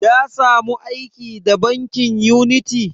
Ya samu aiki a bankin uniti?